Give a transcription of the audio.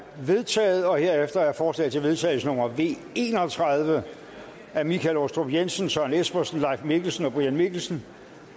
vedtaget herefter er forslag til vedtagelse nummer v en og tredive af michael aastrup jensen søren espersen leif mikkelsen og brian mikkelsen